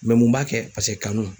mun b'a kɛ paseke kanu.